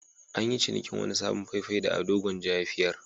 An yi cinikin wani sabon fai-fai da Ado Gwanja ya fiyar.